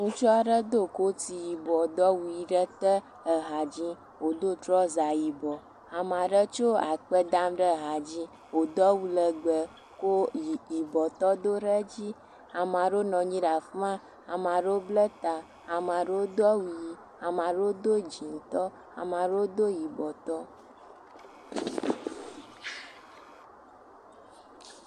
Ŋutsu aɖe do koti yibɔ do awu ʋi ɖe te le ha dzi wodo trɔza yibɔ. Ame aɖe tso akpa dam ɖe ha dzi wodo awu legbe, ko yibɔtɔ do ɖe dzi. Ame aɖewo nɔ anyi ɖe afi ma. Ame aɖewo bla ta, ame aɖewo do awu ʋi, ame aɖe dzɛ̃tɔ, ame aɖewo do yibɔtɔ.